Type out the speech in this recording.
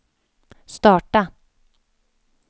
starta